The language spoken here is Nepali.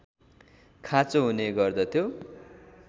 खाँचो हुने गर्दथ्यो